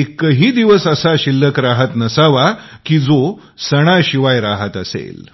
एक ही दिवस शिल्लक राहत नसावा की जो सणाशिवाय राहत असेल